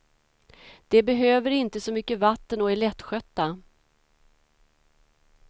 De behöver inte så mycket vatten och är lättskötta.